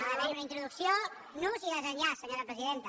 ha d’haver hi una introducció nus i desenllaç senyora presidenta